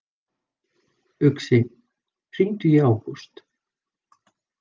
Uxi, hringdu í Ágúst.